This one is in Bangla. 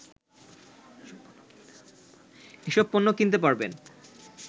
এসব পণ্য কিনতে পারবেন